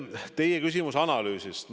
Teie küsimus on analüüsi kohta.